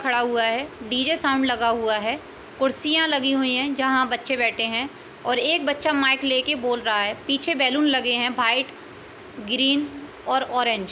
खड़ा हुआ है| डीजे साउंड लगा हुआ है| कुर्सियां लगी हुयी हैँ| जहाँ बच्चे बैठे हैँ और एक बच्चा माइक लेके बोल रहा है| पीछे बैलून लगे है| वाइट ग्रीन और ऑरेंज |